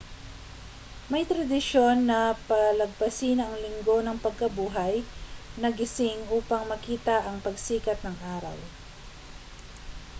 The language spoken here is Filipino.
may tradisyon na palagpasin ang linggo ng pagkabuhay na gising upang makita ang pagsikat ng araw